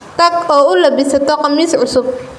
Tag oo u labisato khamis cusub.